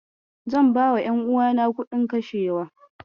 Zan bawa ƴanuwana kuɗin kashewa.